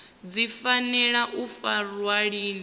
dzi fanela u farwa lini